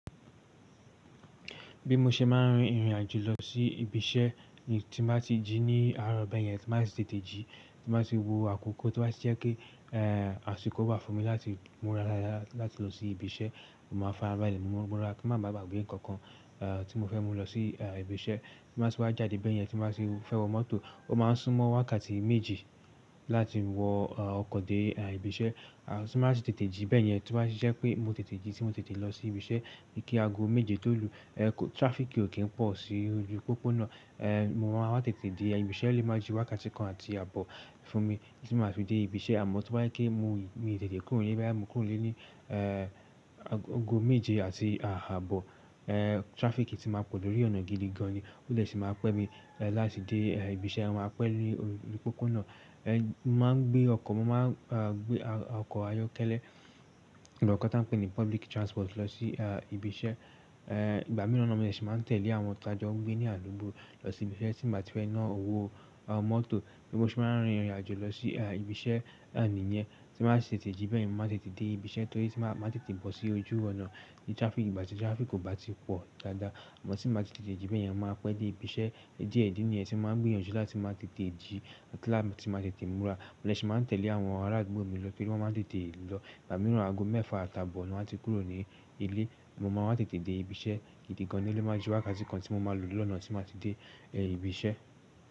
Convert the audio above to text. Bí mo ṣe máa ń rin ìrìn àjò lọ sí ibi iṣẹ́ ni tí mba ti jí ní àárọ̀ bẹ́ẹ̀ yẹn, tí mbá tì tètè jí, tí mba ti wo àkókò to ó bá ti je pé àsìkò wà fún mi láti múra láyà láti lọ sí ibi iṣẹ́, mo máa farabalẹ̀ múra kí mmá baà gbé nǹkan kan tí mo fẹ́ mú lọ sí ibi iṣẹ́. Tí mbá ti wá jáde bẹ́ẹ̀ yẹn, tí mbá ti fẹ́ wọ mọ́tò ó máa ń súnmọ́ wákàtí méji láti wọ ọkọ̀ dé ibi iṣẹ́. Tí mbá tì tètè jí bẹ́ẹ̀ yẹn, tí ó bá ti je pé mo tètè jí tí mo tètè lọ sí ibi iṣẹ́ ní kí àgọ́ méje tó lù, traffic ò kí ń pọ̀ sí ojú pópónà. Mo máa wá tètè dé ibi iṣẹ́ o lé máa ju wákàtí kan àti àbọ̀ fún mi tí máa fi dé ibi iṣẹ́. Àmọ́ tó bá jẹ pe mo yi, mii tètè kúrò nílé boya mo kúrò nlé ní àgo méje àti àbọ̀, traffic ti máa pọ̀ lórí ọ̀nà gidi gan ni, ó lfè sì máa dee si maapẹ́ mi láti dé ibi iṣẹ́. Máa pẹ́ ní ori pópónà, mo máa ń gbé ọkọ̀, mo máa ń gbé ọkọ̀ ayọ́kẹ́lẹ́ àti ọkọ̀ t'ọ́n ń pè ní public transport lọ sí ibi iṣẹ́. Ìgbà mìíràn naa mó de ṣi máa n tẹ̀lé àwọn tàjọ́ n gbé ní àdúgbò lọ sí ibi iṣẹ́ tí mo bá ti reni náà owó mọ́tò. Bí mo ṣe máa ń rin ìrìn àjò lọ sí ibi iṣẹ́ nìyẹn, tí mbá tì tètè jí bẹ́ẹ̀ yen, mo máa tètè dé ibi iṣẹ́ torí tí máa tètè bọ́ sí ojú ọ̀nà tí ìgbà tí traffic kò bá ti pọ̀ dáadáa. Àmọ́ tíi mbá ti tètè jí bẹ́ẹ̀ yẹn, mo máa pẹ́ dé ibi iṣẹ́. Die idi niyen ti maa n gbinyanju lati maa tete ji ati láti máa tètè múra. Mo dè sì máa n tẹ̀lé àwọn ará àdúgbò mi lọ torí wọn máa tètè lọ. Ìgbà mìíràn àgọ́ mẹ́fa àti àbọ̀ ni wan ti kúrò ní ilé, mo máa wá tètè dé ibi iṣẹ́ gidi gan ni ó lè máa ju wákàtí kan tí mo máa lò lọ́nà tí maa fi dé ibi iṣẹ́.